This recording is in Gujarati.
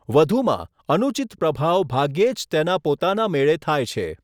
વધુમાં, અનુચિત પ્રભાવ ભાગ્યે જ તેના પોતાના મેળે થાય છે.